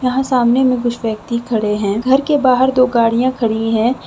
यहां सामने में कुछ व्यक्ति खड़े हैं घर के बाहर दो गाड़ियां खड़ी है।